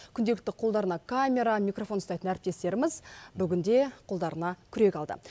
күнделікті қолдарына камера микрофон ұстайтын әріптестеріміз бүгінде қолдарына күрек алды